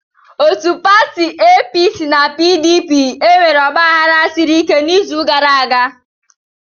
Otu pati APC na PDP enwere ọgbaghara siri ike n'izu gara aga.